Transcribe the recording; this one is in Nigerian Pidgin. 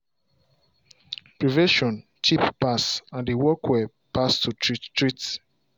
prevention cheap pass and dey work well pass to treat treat